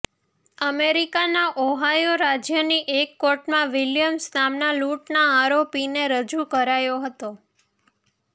અમેરિકાના ઓહાયો રાજયની એક કોર્ટમાં વિલયમ્સ નામના લૂંટના આરોપીને રજૂ કરાયો હતો